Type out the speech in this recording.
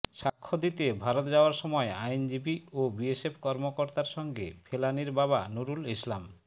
সাক্ষ্য দিতে ভারত যাওয়ার সময় আইনজীবী ও বিএসএফ কর্মকর্তার সঙ্গে ফেলানীর বাবা নুরুল ইসলাম